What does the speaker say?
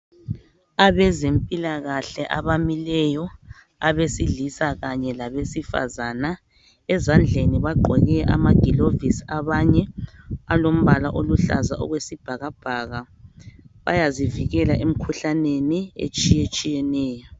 Abezempilakahle abamileyo abesilisa kanye labesifazana. Ezandleni bagqoke amagilovisi abanye alombala oluhlaza okwesibhakabhaka , bayazivikela emkhuhlaneni etshiyetshiyeneyo.